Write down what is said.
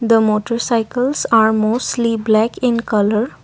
the motorcycles are mostly black in colour.